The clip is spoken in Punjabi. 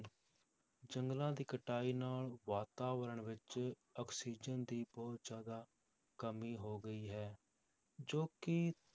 ਜੰਗਲਾਂ ਦੀ ਕਟਾਈ ਨਾਲ ਵਾਤਾਵਰਨ ਵਿੱਚ ਆਕਸੀਜਨ ਦੀ ਬਹੁਤ ਜ਼ਿਆਦਾ ਕਮੀ ਹੋ ਗਈ ਹੈ, ਜੋ ਕਿ